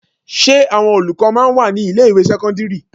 Ṣé àwọn olùkọ́ máa ń wà ní ilé ìwé sẹ́kọ́ńdírì?